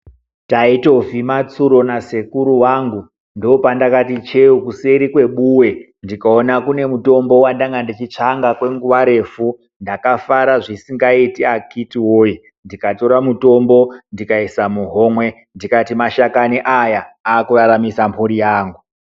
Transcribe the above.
Taito vhima tsuro nasekuru wangu ndopandakati cheu kuseri kwebuwe ndikaona kune mutombo wandanga ndichitsvanga kwenguwa refu ndakafara zvisingaiti akiti woye ndikatora mutombo ndikaise muhombe ndikati mashakani aya akuraramisa mhuri yangu.